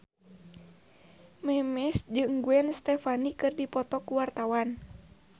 Memes jeung Gwen Stefani keur dipoto ku wartawan